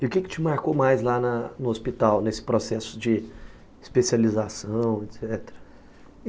E o que te marcou mais lá na no hospital, nesse processo de especialização, etc?